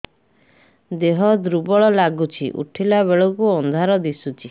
ଦେହ ଦୁର୍ବଳ ଲାଗୁଛି ଉଠିଲା ବେଳକୁ ଅନ୍ଧାର ଦିଶୁଚି